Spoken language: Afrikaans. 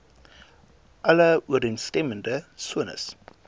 alle ooreenstemmende sones